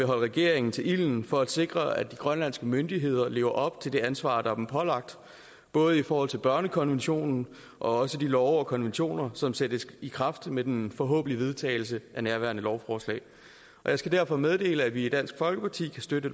regeringen til ilden for at sikre at de grønlandske myndigheder lever op til det ansvar der er dem pålagt både i forhold til børnekonventionen og også de love og konventioner som sættes i kraft med den forhåbentlige vedtagelse af nærværende lovforslag jeg skal derfor meddele at vi i dansk folkeparti kan støtte